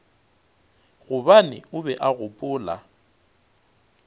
gobane o be a gopola